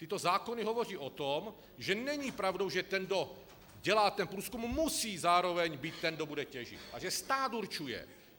Tyto zákony hovoří o tom, že není pravdou, že ten, kdo dělá ten průzkum, musí zároveň být ten, kdo bude těžit, a že stát určuje.